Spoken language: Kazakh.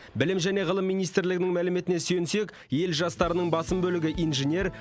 білім және ғылым министрлігінің мәліметіне сүйенсек ел жастарының басым бөлігі инженер